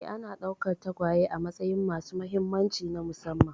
Ee, ana ɗaukar tagwaye a matsayin masu mahimmanci na musamman